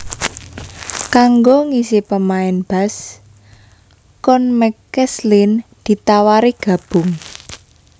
Kanggo ngisi pémain bass Cone McCaslin ditawari gabung